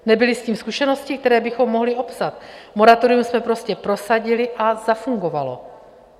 Nebyly s tím zkušenosti, které bychom mohli opsat, moratorium jsme prostě prosadili a zafungovalo.